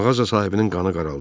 Mağaza sahibinin qanı qaraldı.